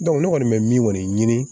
ne kɔni bɛ min kɔni ɲini